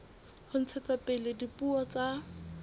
ho ntshetsa pele dipuo tsa